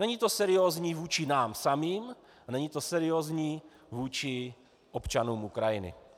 Není to seriózní vůči nám samým a není to seriózní vůči občanům Ukrajiny.